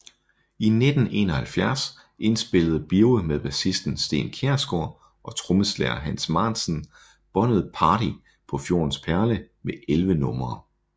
I 1971 indspillede Birge med bassisten Steen Kjærsgaard og trommeslager Hans Maansen båndet Party på Fjordens perle med 11 numre